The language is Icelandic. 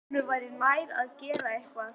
Honum væri nær að gera eitthvað.